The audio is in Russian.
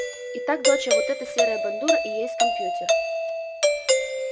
итак доча вот эта серая бандура и есть компьютер